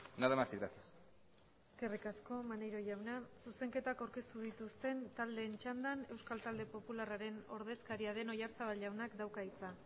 nada más y gracias eskerrik asko maneiro jauna zuzenketak aurkeztu dituzten taldeen txandan euskal talde popularraren ordezkaria den oyarzabal jaunak dauka hitza